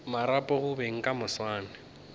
marapo go beng ka moswane